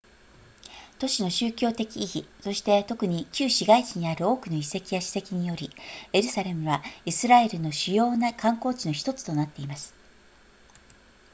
都市の宗教的意義そして特に旧市街地にある多くの遺跡や史跡によりエルサレムはイスラエルの主要な観光地の1つとなっています